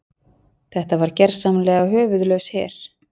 Þetta var gersamlega höfuðlaus her.